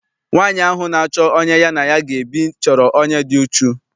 Nwaanyi ahụ na-achọ onye ya na ya ga ebi chọrọ onye dị uchu.